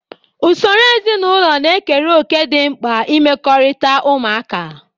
Usoro ezinụlọ na-ekere òkè dị mkpa n'imekọrịta ụmụaka.